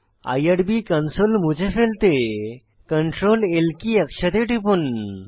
IRB console মুছে ফেলতে Ctrl L কী একসাথে টিপুন